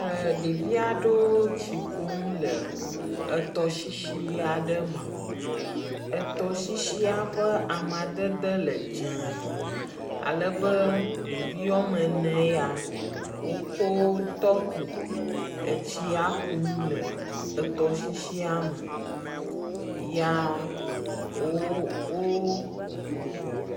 Ɖevi aɖewo tsi kumle etɔsisi aɖe me. Etɔsisia ƒe amadede le dzee, alebe ɖevi woame ene ya, wokɔ tɔkpo etsia kum le etɔsisia me ya wo wo…